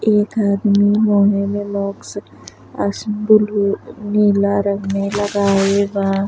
एक आदमी रंग में लगाइल बा।